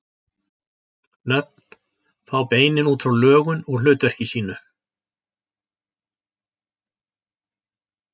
Nöfnin fá beinin út frá lögun og hlutverki sínu.